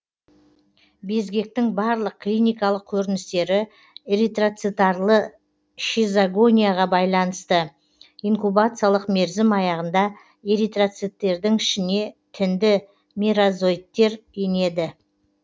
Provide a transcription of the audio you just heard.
безгектің барлық клиникалық көріністері эритроцитарлы щизогонияға байланысты инкубациялық мерзім аяғында эритроциттердің ішіне тінді меразоиттар енеді